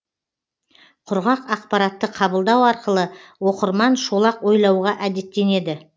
құрғақ ақпаратты қабылдау арқылы оқырман шолақ ойлауға әдеттенеді